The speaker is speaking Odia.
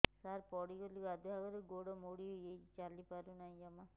ସାର ପଡ଼ିଗଲି ଗାଧୁଆଘରେ ଗୋଡ ମୋଡି ହେଇଯାଇଛି ଚାଲିପାରୁ ନାହିଁ ଜମା